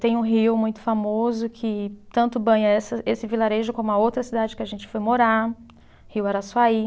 Tem um rio muito famoso que tanto banha essa, esse vilarejo como a outra cidade que a gente foi morar, Rio Araçuaí.